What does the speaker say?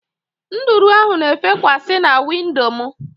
Nduru ahụ na efekwa si na windo mụ